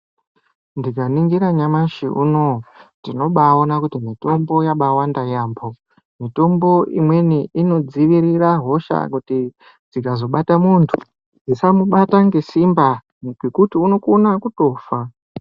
Ndikaningira nyamashi unoyu, tinobaaona kuti mitombo yabaawanda yaamho. Mitombo imweni inodzivirira hosha kuti dzikazobata muntu dzisamubata ngesimba ngekuti unokona kutofa.